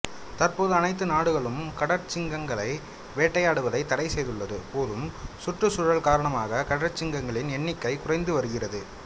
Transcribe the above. தற்போது அனைத்து நாடுகளும் கடற்சிங்கங்களை வேட்டையாடுவதை தடை செய்துள்ள போதும் சுற்றுச் சூழல் காரணமாக கடற்சிங்கங்களின் எண்ணிக்கை குறைந்து வருகிறது